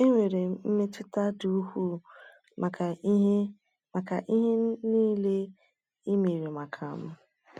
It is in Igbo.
“Enwere m mmetụta dị ukwuu maka ihe maka ihe niile e mere maka m.”